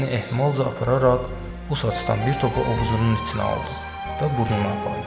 Əlini ehmalca apararaq bu saçdan bir topa ovuzunun içinə aldı və burnuna apardı.